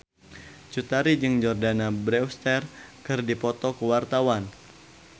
Cut Tari jeung Jordana Brewster keur dipoto ku wartawan